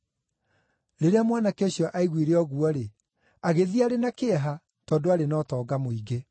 Rĩrĩa mwanake ũcio aiguire ũguo-rĩ, agĩthiĩ arĩ na kĩeha, tondũ aarĩ na ũtonga mũingĩ.